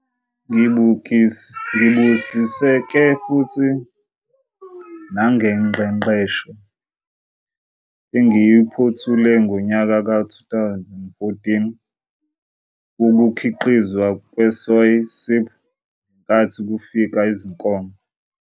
Ngibusiseke futhi nangengqeqesho engiyiphothule ngonyaka ka-2014 wokuKhiqizwa kweSoy Sip ngenkathi kufika izinkomo.